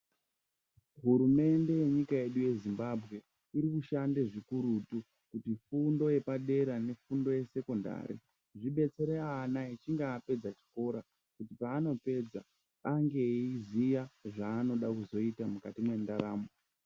Hurumende yenyika yedu yeZimbabwe ,iri kushande zvikurutu kufundo yepadera nekufundo yesekondari kudetsere vana kusvikira apedze chikora. Paanopedza ange eiziya zvaanoda kuzoita mukati mwendaramo.